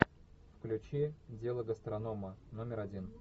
включи дело гастронома номер один